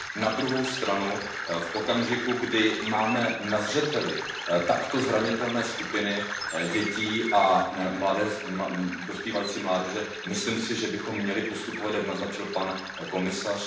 Na druhou stranu v okamžiku, kdy máme na zřeteli takto zranitelné skupiny dětí a dospívající mládeže, si myslím, že bychom měli postupovat, jak naznačil pan komisař.